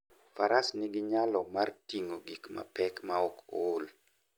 Faras nigi nyalo mar ting'o gik mapek maok ool.